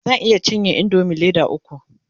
zan iya cinye indomie Leda ukwu